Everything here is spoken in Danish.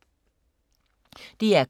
DR K